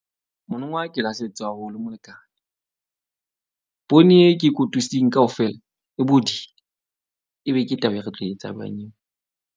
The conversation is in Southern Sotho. Monongwa ke lahlehetswe haholo molekane. Poone e ke kotutsing kaofela e bodile. Ebe ke taba e re tlo etsa jwang eo?